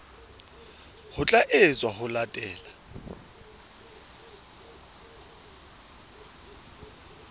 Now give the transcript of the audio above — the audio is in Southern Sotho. ho tla etswa ho latela